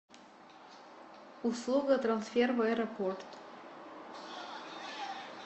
услуга трансфер в аэропорт